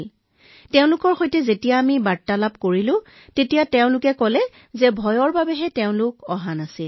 যেতিয়া আমি তেওঁলোকৰ সকলোৰে সৈতে কথা পাতিছিলো সকলোৱে কৈছিল যে আমি ভয়ত আহিব পৰা নাই সকলোৰে পৰা সেইটোৱেই আমি উত্তৰ পাইছিলো